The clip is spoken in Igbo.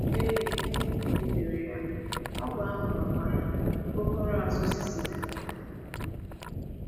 Ee, i kwutere ya, ọgwụ ahụ nwekwara aokpokoro azụ cicida.